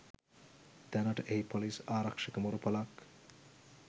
දැනට එහි පොලිස් ආරක්ෂක මුර පොලක්